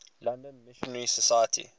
london missionary society